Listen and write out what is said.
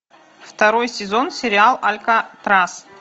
второй сезон сериал алькатрас